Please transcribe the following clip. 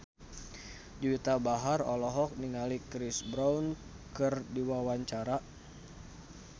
Juwita Bahar olohok ningali Chris Brown keur diwawancara